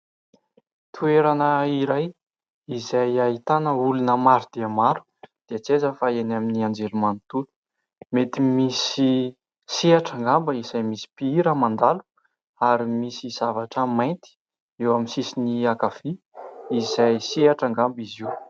Toerana iray izay ahitana olona maro dia maro, dia tsy aiza fa eny amin'ny anjery manontolo. Mety misy sehatra angamba izay misy mpihira mandalo ary misy zavatra maintyeo amin'ny sisisny ankavia izay sehatra angamba izy io.